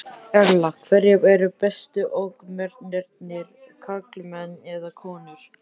Erla: Hverjir eru bestu ökumennirnir, karlmenn eða konur?